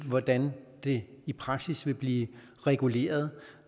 hvordan det i praksis vil blive reguleret